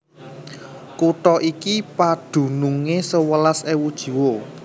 Kutha iki padunungé sewelas ewu jiwa